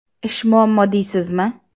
Ish muammo deysizmi?!